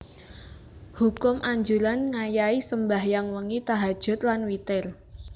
Hukum Anjuran ngayahi sembahyang wengi tahajjud lan witir